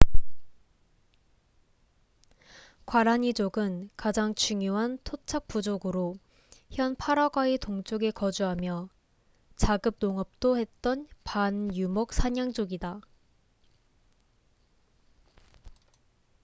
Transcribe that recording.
과라니 족은 가장 중요한 토착 부족으로 현 파라과이 동쪽에 거주하며 자급 농업도 했던 반유목 사냥족이다